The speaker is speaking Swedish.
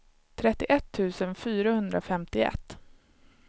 trettioett tusen fyrahundrafemtioett